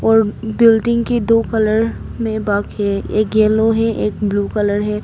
Building के दो colour में भाग है। एक येलो है एक ब्ल्यू कलर है।